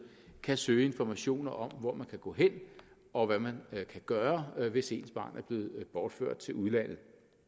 kan søge information om hvor man kan gå hen og hvad man kan gøre hvis ens barn er blevet bortført til udlandet